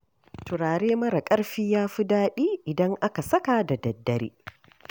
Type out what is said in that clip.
Turare mara ƙarfi ya fi daɗi, idan aka saka da daddare